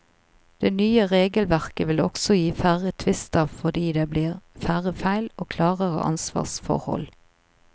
Det nye regelverket vil også gi færre tvister fordi det blir færre feil og klarere ansvarsforhold.